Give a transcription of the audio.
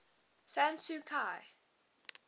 san suu kyi